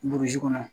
Burusi kɔnɔ